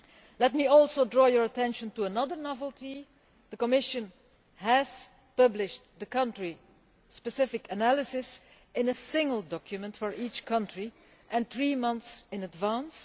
Let me also draw your attention to another novelty. The Commission has published the country-specific analysis in a single document for each country, three months in advance.